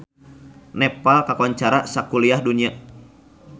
Nepal kakoncara sakuliah dunya